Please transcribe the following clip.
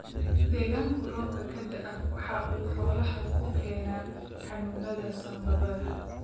Deegaanka roobka ka da'a waxa uu xoolaha ku keenaa xanuunada sambabada.